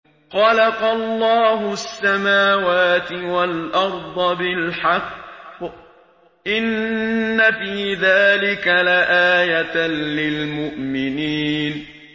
خَلَقَ اللَّهُ السَّمَاوَاتِ وَالْأَرْضَ بِالْحَقِّ ۚ إِنَّ فِي ذَٰلِكَ لَآيَةً لِّلْمُؤْمِنِينَ